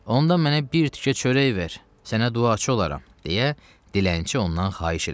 Onda mənə bir tikə çörək ver, sənə duaçı olaram, deyə dilənçi ondan xahiş elədi.